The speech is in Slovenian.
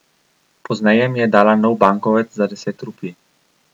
Pozneje mi je dala nov bankovec za deset rupij.